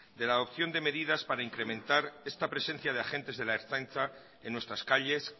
de la adopción de medidas para incrementar esta presencia de agentes de la ertzaintza en nuestras calles